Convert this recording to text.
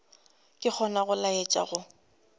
ke gona go laetša go